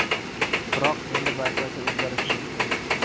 Biroq endi barchasi o‘zgarishi mumkin.